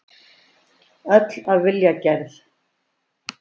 Öll af vilja gerð.